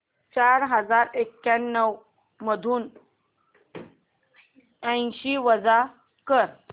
चार हजार एक्याण्णव मधून ऐंशी वजा कर